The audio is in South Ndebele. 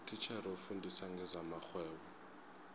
utitjhere ofundisa ngezamarhwebo